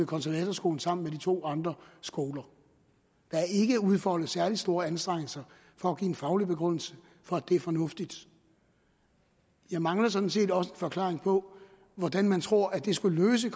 konservatorskolen sammen med de to andre skoler der er ikke udfoldet særlig store anstrengelser for at give en faglig begrundelse for at det er fornuftigt jeg mangler sådan set også en forklaring på hvordan man tror at det skal løse